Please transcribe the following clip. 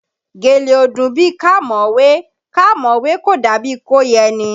Gèlè ò dùn bíi ká mọ̀ ọ́ wé, ká mọ̀ ọ́ wé kò dàbí i kó yẹni